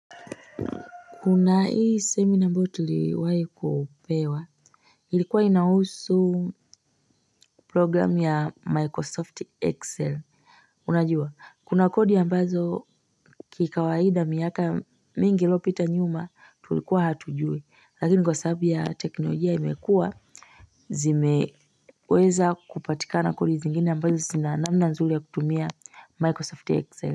Kuna hii seminar ambayo tuliwai kupewa ilikuwa inahusu program ya microsoft excel. Unajua kuna kodi ambazo kikawaida miaka mingi ilopita nyuma tulikuwa hatujuei lakini kwa sababu ya teknolojia imekuwa zimeweza kupatikana kodi zingine ambazo zina namna nzuri ya kutumia microsoft excel.